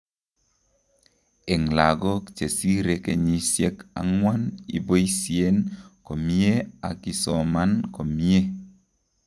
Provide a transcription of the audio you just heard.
Eng' lagok chesire kenyisiek ang'wan ibosien komyee ak isoman komyee